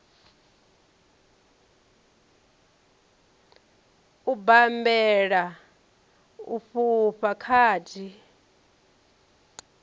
u bammbela u fhufha khadi